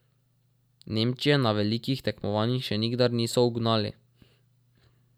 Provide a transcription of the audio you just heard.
Nemčije na velikih tekmovanjih še nikdar niso ugnali.